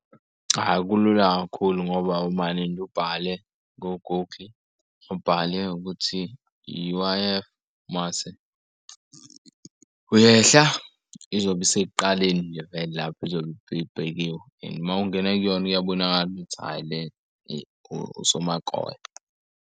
Cha, kulula kakhulu ngoba umande nje ubhale ku-Google ubhale ukuthi U_I_F, mase uyehla izobe isekuqaleni nje vele lapho izobe ibhekiwe and uma ungena kuyona iyabonakala uthi hhayi le usomakoya.